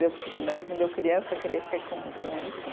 De eu que né, de eu criança crescer com com isso.